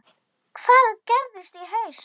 Hvað gerist í haust?